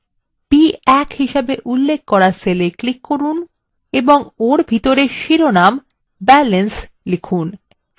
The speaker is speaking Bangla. b1হিসেবে উল্লেখ করা cell এ click করুন এবং ওর ভিতরে শিরোনাম balance লিখুন